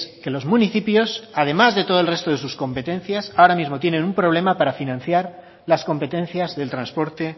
que los municipios además de todo el resto de sus competencias ahora mismo tienen un problema para financiar las competencias del transporte